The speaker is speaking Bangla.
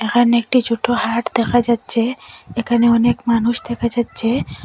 এখানে একটি ছোট হাট দেখা যাচ্ছে এখানে অনেক মানুষ দেখা যাচ্ছে।